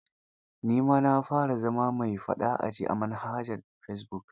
Ni ma na fara zama mai faɗa a ji a manhajar fesibuk.